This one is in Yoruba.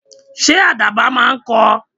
Ṣé àdàbà máa ń kọ?